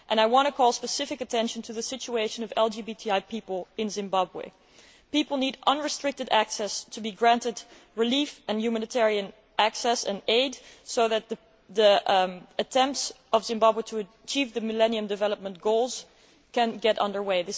I want to draw specific attention to the situation of LGBTI people in Zimbabwe. People need unrestricted access to be granted relief, humanitarian access and aid so that the attempts by Zimbabwe to achieve the Millennium Development Goals can get under way.